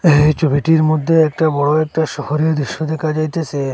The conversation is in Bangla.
এই ছবিটির মধ্যে একটা বড়ো একটা শহরের দেখা যাইতাসে।